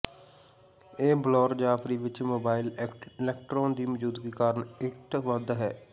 ਇਹ ਬਲੌਰ ਜਾਫਰੀ ਵਿੱਚ ਮੋਬਾਈਲ ਇਕਟ੍ਰੋਨ ਦੀ ਮੌਜੂਦਗੀ ਕਾਰਨ ਇੱਟ ਵੱਧ ਹੈ